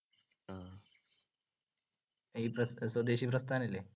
ഈ പ്രസ്~ സ്വദേശിപ്രസ്ഥാനല്ല്യെ?